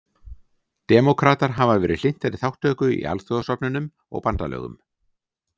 Demókratar hafa verið hlynntari þátttöku í alþjóðastofnunum og bandalögum.